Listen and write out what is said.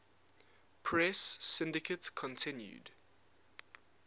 press syndicate continued